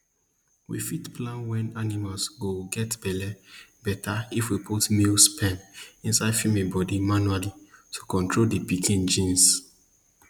we fit plan wen animal go get belle better if we put male sperm inside female body manually to control the pikins genes